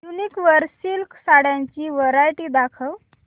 वूनिक वर सिल्क साड्यांची वरायटी दाखव